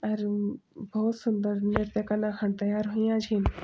अरु भौत सुन्दर नृत्य कना खण तैयार हुयां छिन।